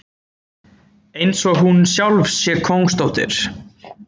Einsog hún sjálf sé kóngsdóttir.